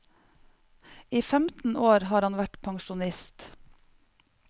I femten år har han vært pensjonist.